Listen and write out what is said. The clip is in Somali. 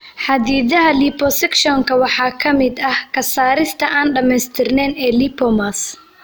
Xaddidaadaha liposuction-ka waxaa ka mid ah ka saarista aan dhamaystirnayn ee lipomas.